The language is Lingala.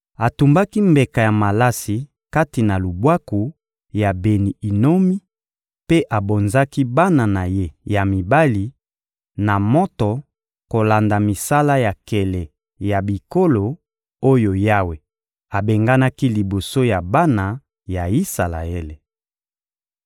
Atumbaki mbeka ya malasi kati na Lubwaku ya Beni-Inomi mpe abonzaki bana na ye ya mibali na moto kolanda misala ya nkele ya bikolo oyo Yawe abenganaki liboso ya bana ya Isalaele.